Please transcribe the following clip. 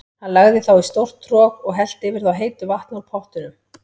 Hann lagði þá í stórt trog og hellti yfir þá heitu vatni úr pottinum.